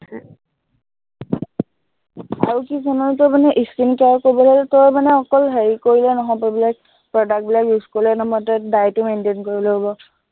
আৰু কি জাননে, তই মানে skin care কৰিবলে হলে তই মানে অকল হেৰি কৰিলে নহব, বোলে product বিলাক use কৰিলে নহব, মানে তই diet ও maintain কৰিব লাগিব।